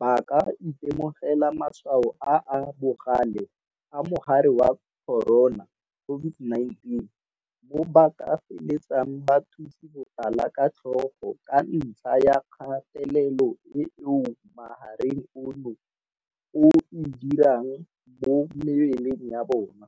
ba ka itemogela matshwao a a bogale a mogare wa corona, COVID-19, mo ba ka feletsang ba thutse botala ka tlhogo ka ntlha ya kgatelelo eo mogare ono o e dirang mo mebeleng ya bona.